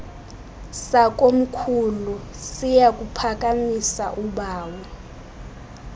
sakomkhulu siyakuphakamisa ubawo